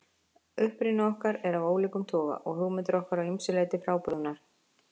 Uppruni okkar er af ólíkum toga og hugmyndir okkar að ýmsu leyti frábrugðnar.